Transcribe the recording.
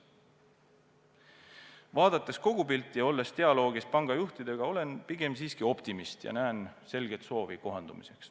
Vaadates kogupilti ja olles dialoogis panga juhtidega, olen ma aga pigem siiski optimist ja näen selget soovi kohanduda.